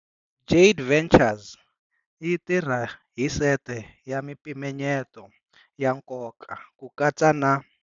Jade Ventures yi tirha hi sete ya mimpimanyeto ya nkoka, ku katsa na.